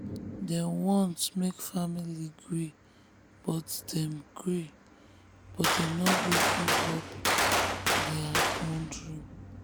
dem want make family gree but dem gree but dem no gree give up their own dream.